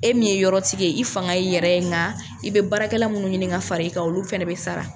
E min ye yɔrɔ tigɛ ye, i fanga ye i yɛrɛ ye , nka i bɛ baarakɛla minnu ɲini ka fara i kan, olu fana bɛ sara.